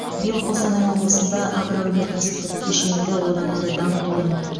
биыл қостанай облысында агроөнеркәсіптік кешенді одан әрі дамытудың